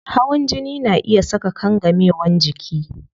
Hawan jini na iya saka kangamewan jiki